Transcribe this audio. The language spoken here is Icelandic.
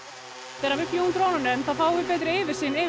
þegar við fljúgum drónanum fáum við betri yfirsýn yfir